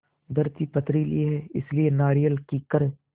धरती पथरीली है इसलिए नारियल कीकर